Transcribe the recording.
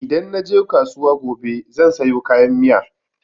Idan naje kasuwa gobe zan sayo kayan miya.